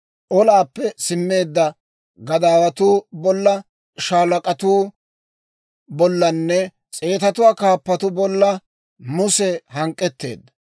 Olaappe simmeedda gadaawatuu bolla, shaalak'atuu bollanne s'eetuwaa kaappatuu bolla Muse hank'k'etteedda.